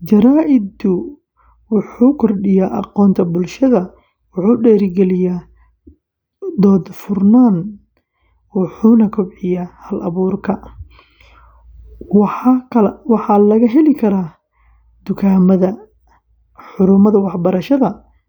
Jaraa’idku wuxuu kordhiyaa aqoonta bulshada, wuxuu dhiirrigeliyaa dood furan, wuxuuna kobciyaa hal-abuurka. Waxaa laga heli karaa dukaamada, xarumaha waxbarashada.